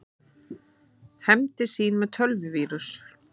Hefndi sín með tölvuvírus